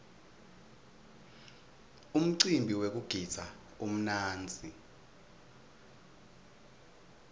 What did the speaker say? umcimbi wekugidza umnandzi